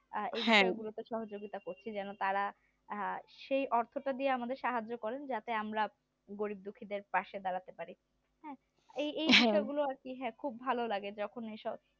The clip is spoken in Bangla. এই সব গুলিতে সহযোগিতা করতে যেন তারা সেই অর্থটা দিয়ে সাহায্য করেন যাতে আমরা গরীব দুঃখীদের পাশে দাঁড়াতে পারি হ্যাঁ এই এই সহযোগিতা গুলি করতে খুব ভালো লাগে যখন এইসব